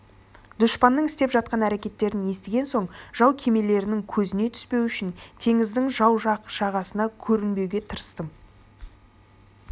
дұшпанның істеп жатқан әрекеттерін естіген соң жау кемелерінің көзіне түспеу үшін теңіздің жау жақ жағасына көрінбеуге тырыстым